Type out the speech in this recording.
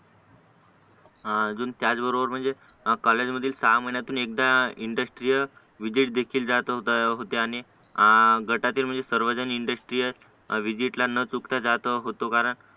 अजून त्याच बरोबर म्हणजे कॉलेजमधील सहा महिन्यातून एकदा इंडस्ट्रीय विझिट देखील जात होत्या आणि गटातील सर्वजण म्हणजे इंडस्ट्रीत व्हिजिटला न चुकता जात होतो कारण